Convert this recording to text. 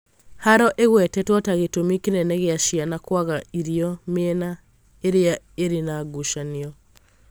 haaro ĩgwetetwo ta gĩtũmi kĩnene gĩa ciana kwaga irio mĩena irĩa ĩrĩ na ngucanio